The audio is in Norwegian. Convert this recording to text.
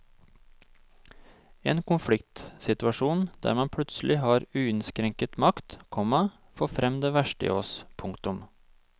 En konfliktsituasjon der man plutselig har uinnskrenket makt, komma får frem det verste i oss. punktum